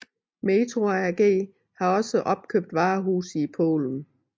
Metro AG har også opkøbt varehuse i Polen